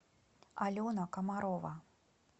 алена комарова